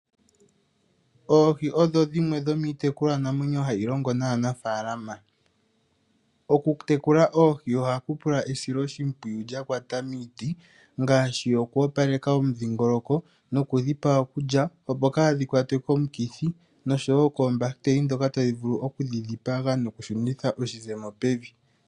Oohi odho dhimwe dhomiitekulwanamwenyo hayi longo naanafaalama. Okutekula oohi ohaku pula esiloshimpwiyu lyakwata miiti ngaashi okoopaleka omundhingoloko nokudhi pa okulya noshowoo koombahiteli ndhoka tadhi vullu okudhi dhipaga noku shunitha oshizemo pevi.